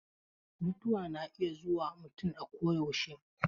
Mutuwa na iya zuwa mutum akoyaushe.